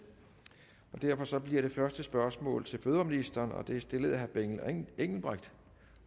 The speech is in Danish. og derfor bliver det første spørgsmål til fødevareministeren og det er stillet af herre benny engelbrecht